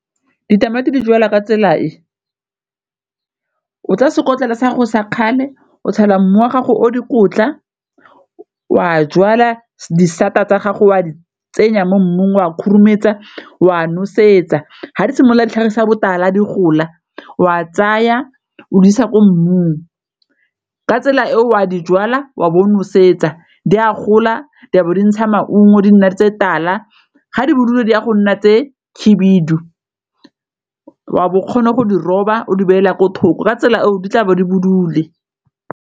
ditamati di jalwa ka tsela e, o tsa sekotlolo sa go sa kgale o tshela mmu wa gago o dikotla o a jwala disata tsa gago o a di tsenya mo mmung o a khurumetsa o a nosetsa, fa di simolola ditlhagisa botala a di gola o a tsaya o di isa ko mmung ka tsela e o a di jwala wa bo o nosetsa di a gola di bo di ntsha maungo di nna di tse tala ga di bodule di a go nna tse khibidu, wa bo o kgone go di roba o di beela ko thoko ka tsela eo di tlabe di bodule.